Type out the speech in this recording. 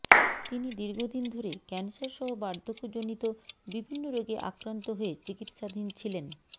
তিনি দীর্ঘদিন ধরে ক্যান্সারসহ বাধর্ক্যজনিত বিভিন্ন রোগে আক্রান্ত হয়ে চিকিৎসাধীন ছিলেন